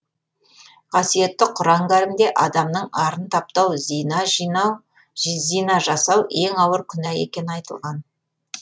қасиетті құран кәрімде адамның арын таптау зина жасау ең ауыр күнә екені айтылған